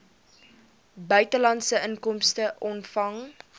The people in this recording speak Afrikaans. buitelandse inkomste ontvang